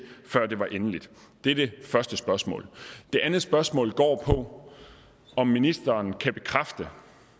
før det var endeligt det er det første spørgsmål det andet spørgsmål går på om ministeren kan bekræfte